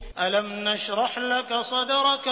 أَلَمْ نَشْرَحْ لَكَ صَدْرَكَ